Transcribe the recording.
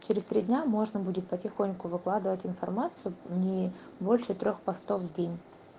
через три дня можно будет потихоньку выкладывать информацию не больше трёх постов в день